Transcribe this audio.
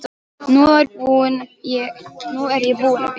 Nú er ég búin að bíða.